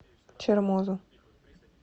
чермозу